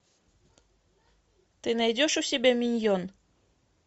ты найдешь у себя миньон